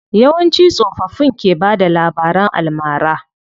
Yawanci tsofaffin ke bada labaran almara.